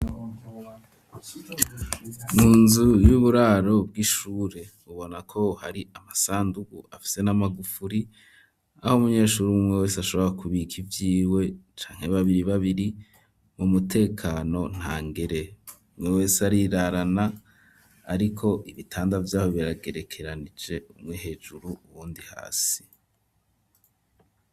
Mu nzu y'uburaro bw'ishure, ubona ko hari amasandugu afise n'amagufuri, aho umunyeshure umwe umwe wese ashobora kubika ivyiwe, canke babiri babiri, mu mutekano ntangere; umwe wese arirarana, ariko ibitanda vy'aho biragerekeranije, umwe hejuru uwundi hasi.